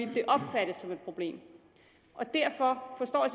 det opfattes som et problem derfor forstår jeg